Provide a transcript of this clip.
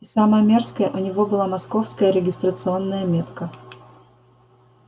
и самое мерзкое у него была московская регистрационная метка